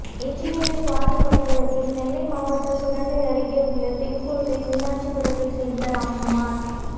engineer Swathi கொலை வழக்கில் நெல்லை மாவட்டம் சுரண்டை அருகே உள்ள தேன்பொத்தை மீனாட்சிபுரத்தை சேர்ந்த ராம்குமார்